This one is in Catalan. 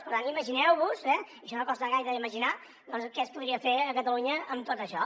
per tant imagineu vos eh això no costa gaire d’imaginar doncs què es podria fer a catalunya amb tot això